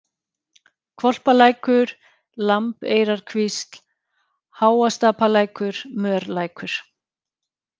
Hvolpalækur, Lambeyrarkvísl, Háastapalækur, Mörlækur